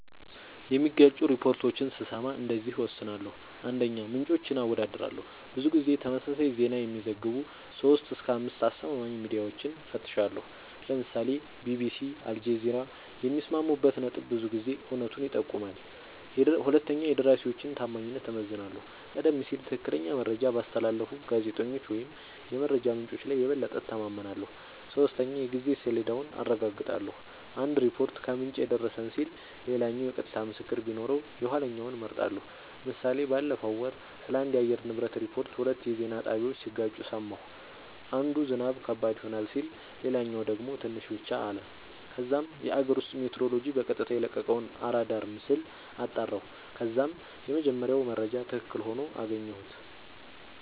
የሚጋጩ ሪፖርቶችን ስሰማ እንደዚህ እወስናለሁ :- 1, ምንጮችን አወዳድራለሁ :-ብዙ ጊዜ ተመሳሳይ ዜና የሚዘግቡ 3-5አስተማማኝ ሚድያወችን እፈትሻለሁ ( ለምሳሌ ቢቢሲ አልጀዚራ )የሚስማሙበት ነጥብ ብዙ ጊዜ እውነቱን ይጠቁማል 2 የደራሲወችን ታማኝነት እመዝናለሁ :-ቀደም ሲል ትክክለኛ መረጃ ባስተላለፉ ጋዜጠኞች ወይም የመረጃ ምንጮች ላይ የበለጠ እተማመናለሁ። 3 የጊዜ ሰሌዳውን አረጋግጣለሁ :- አንድ ሪፖርት "ከምንጭ የደረሰን" ሲል ሌላኛው የቀጥታ ምስክር ቢኖረው የኋለኛውን እመርጣለሁ ## ምሳሌ ባለፈው ወር ስለአንድ የአየር ንብረት ሪፖርት ሁለት የዜና ጣቢያወች ሲጋጩ ሰማሁ። አንዱ "ዝናብ ከባድ ይሆናል " ሲል ሌላኛው ደግሞ "ትንሽ ብቻ " አለ። ከዛም የአገር ውስጥ ሜትሮሎጅ በቀጥታ የለቀቀውን አራዳር ምስል አጣራሁ ከዛም የመጀመሪያው መረጃ ትክክል ሆኖ አገኘሁት